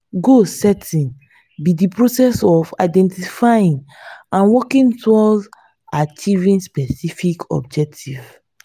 goal setting be di process of identifying and working towards achieving specific objectives.